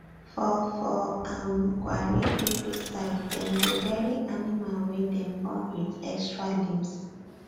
for for um gwari people side dem dey bury animal wey dem born with extra limbs